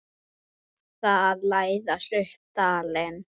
Þoka að læðast upp dalinn.